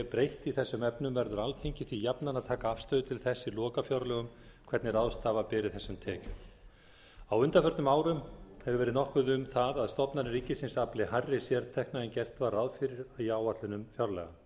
breytt í þessum efnum verður alþingi því jafnan að taka afstöðu til þess í lokafjárlögum hvernig ráðstafa beri þessum tekjum á undanförnum árum hefur verið nokkuð um það að stofnanir ríkisins afli hærri sértekna en gert var ráð fyrir í áætlunum fjárlaga